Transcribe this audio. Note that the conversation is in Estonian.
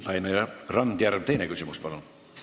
Laine Randjärv, teine küsimus, palun!